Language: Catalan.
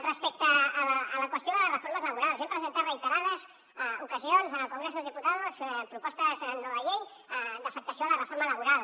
respecte a la qüestió de les reformes laborals hem presentat en reiterades ocasions en el congreso de los diputados propostes no de llei d’afectació de la reforma laboral